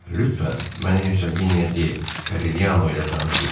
Lütfən, məni Heçginya de Kariano ilə tanış eləyin.